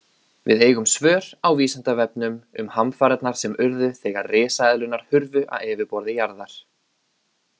Við eigum svör á Vísindavefnum um hamfarirnar sem urðu þegar risaeðlurnar hurfu af yfirborði jarðar.